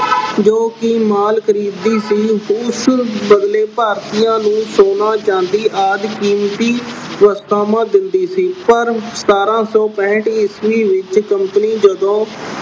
ਜੋ ਕਿ ਮਾਲ ਖਰੀਦਦੀ ਸੀ, ਉਸ ਬਦਲੇ ਭਾਰਤੀਆਂ ਨੂੰ ਸੋਨਾ, ਚਾਂਦੀ ਆਦਿ ਕੀਮਤੀ ਵਸਤਾਂ ਦਿੰਦੀ ਸੀ ਪਰ ਸਤਾਰਾਂ ਸੌ ਪੈਂਹਠ ਈਸਵੀ ਵਿੱਚ company ਜਦੋਂ